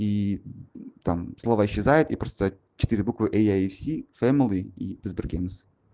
и там слова исчезает и четыре буквы ияимкк